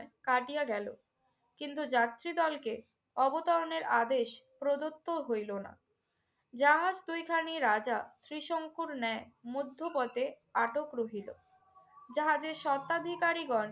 কাটিয়া গেল। কিন্তু যাত্রীদলকে অবতরণের আদেশ প্রদত্ত হইল না। জাহাজ দুইখানি রাজা ত্রিশংকুর ন্যায় মধ্যপথে আটক রহিল। জাহাজের স্বত্বাধিকারীগণ